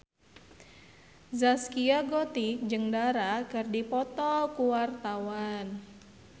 Zaskia Gotik jeung Dara keur dipoto ku wartawan